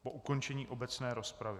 Po ukončení obecné rozpravy.